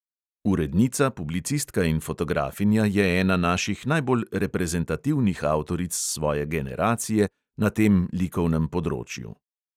Urednica, publicistka in fotografinja je ena naših najbolj reprezentativnih avtoric svoje generacije na tem likovnem področju.